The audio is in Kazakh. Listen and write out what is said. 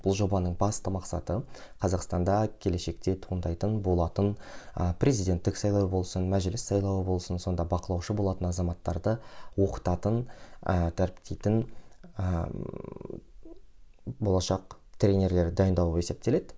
бұл жобаның басты мақсаты қазақстанда келешекте туындайтын болатын ы президеттік сайлау болсын мәжіліс сайлауы болсын сонда бақылаушы болатын азаматтарды оқытатын ы дәріптейтін ыыы болашақ тренерлер дайындау болып есептеледі